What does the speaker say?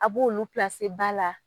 A b'olu ba la.